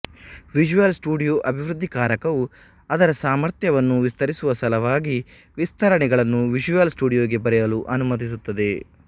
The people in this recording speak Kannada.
ವಿಷುಯಲ್ ಸ್ಟುಡಿಯೋ ಅಭಿವೃದ್ಧಿಕಾರಕವು ಅದರ ಸಾಮರ್ಥ್ಯವನ್ನು ವಿಸ್ತರಿಸುವ ಸಲುವಾಗಿ ವಿಸ್ತರಣೆಗಳನ್ನು ವಿಷುಯಲ್ ಸ್ಟುಡಿಯೋಗೆ ಬರೆಯಲು ಅನುಮತಿಸುತ್ತದೆ